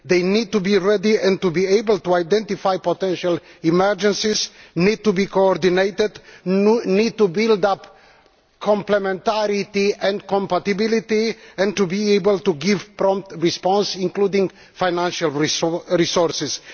They need to be ready and to be able to identify potential emergencies, to be coordinated, to build up complementarity and compatibility, and to be able to give a prompt response including financial resources.